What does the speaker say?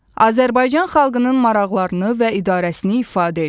Azərbaycan xalqının maraqlarını və idarəsini ifadə edir.